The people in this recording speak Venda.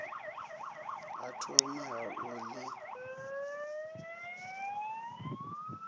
ha thomi ha u ḽi